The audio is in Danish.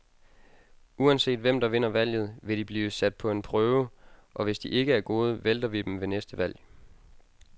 Uanset hvem, der vinder valget, vil de blive sat på en prøve, og hvis de ikke er gode, vælter vi dem ved næste valg.